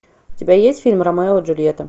у тебя есть фильм ромео и джульетта